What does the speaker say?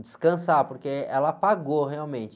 Descansar, porque ela apagou realmente.